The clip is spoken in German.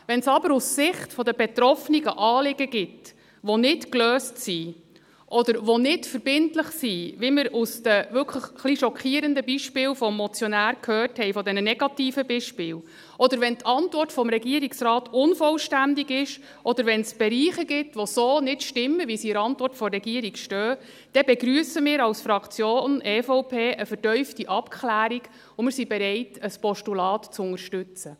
Wenn es aber aus Sicht der Betroffenen Anliegen gibt, die nicht gelöst sind oder die nicht verbindlich sind, wie wir anhand der wirklich etwas schockierenden Beispiele des Motionärs gehört haben, anhand dieser negativen Beispiele, oder wenn die Antwort des Regierungsrates unvollständig ist, oder wenn es Bereiche gibt, die so nicht stimmen, wie sie in der Antwort der Regierung stehen, begrüssen wir von der Fraktion EVP eine vertiefte Abklärung, und sind bereit, ein Postulat zu unterstützen.